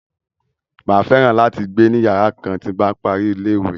Màá fẹ́ràn láti gbé ni yàrá kan tí n bá parí ní ilé-ìwé.